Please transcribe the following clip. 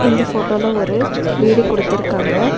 இந்த ஃபோட்டோல ஒரு வீடு குடுத்திருக்காங்க.